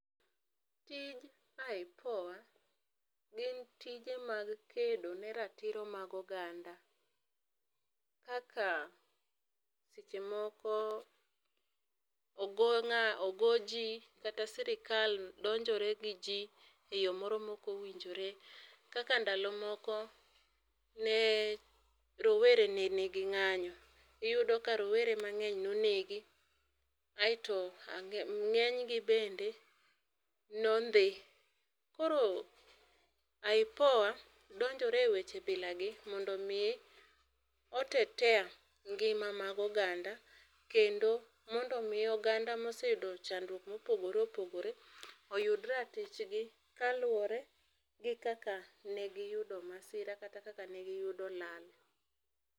Tij IPOA gin tije mag kedo ne ratiro mag oganda kaka seche moko ogo ng'ato ogo ji kata sirkal donjore gi ji e yo moro ma ok owinjore, kaka ndalo moko rowere ne ni gi ng'anyo. Iyudo ka rowere mang'eny ne onegi aito ng'eny gi bende ne ondhi. Koro IPOA donjore e weche bila gi mondo o tetea ngima mag oganda, kendo mondo mi oganda ma oseyudo chandruok ma opogore opogore oyud ratich gi kaluore gi kaka ne gi yudo masira kata kaka ne gi yudo lal.